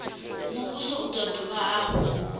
muvhuso u do dovha hafhu